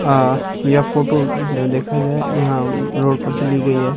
आ यह फोटो जो देखा जाय यहाँ रोड पर से ली गयी है ।